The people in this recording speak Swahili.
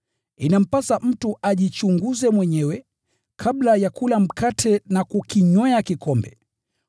Inampasa mtu ajichunguze mwenyewe, kabla ya kula mkate na kukinywea kikombe.